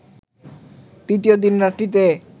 তৃতীয় দিন রাত্রিতে